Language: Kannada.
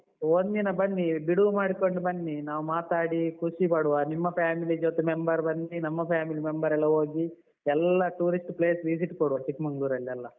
ಆಯ್ತು, ಒಂದಿನ ಬನ್ನಿ ಬಿಡುವು ಮಾಡಿಕೊಂಡು ಬನ್ನಿ, ನಾವು ಮಾತಾಡಿ ಖುಷಿ ಪಡುವ ನಿಮ್ಮ family ಜೊತೆ member ಬನ್ನಿ ನಮ್ಮ family member ಎಲ್ಲ ಹೋಗಿ ಎಲ್ಲಾ tourist place visit ಕೊಡುವ ಚಿಕ್ಮಂಗಳೂರಲ್ಲೆಲ್ಲ.